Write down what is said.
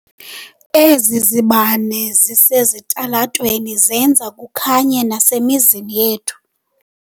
Ezi zibane zisesitalatweni zenza kukhanye nasemizini yethu.